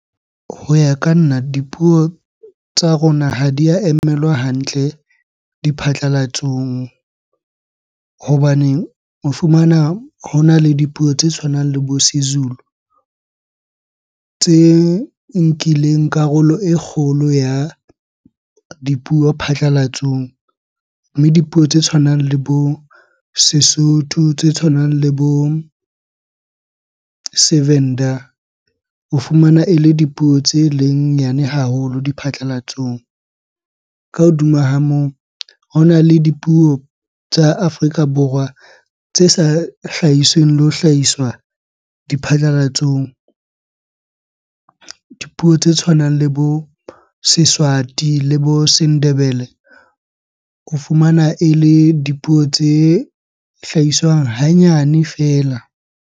Ho ya ka nna, dipuo tsa rona ha di a emelwa hantle diphatlalatsong. Hobaneng o fumana hona le dipuo tse tshwanang le bo s Sezulu tse nkileng karolo e kgolo ya dipuo phatlalatsong. Mme dipuo tse tshwanang le bo Sesotho, tse tshwanang le bo Sevenda. O fumana ele dipuo tse leng nyane haholo diphatlalatsong. Ka hodima ha moo, hona le dipuo tsa Afrika Borwa tse sa hlahisweng le ho hlahiswa diphatlalatsong. Dipuo tse tshwanang le bo Seswati le bo Sendebele o fumana ele dipuo tse hlahiswang hanyane fela.